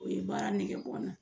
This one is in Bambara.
O ye baara nege bɔ n na